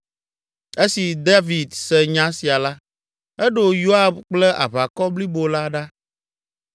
Esi David se nya sia la, eɖo Yoab kple aʋakɔ blibo la ɖa.